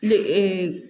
Le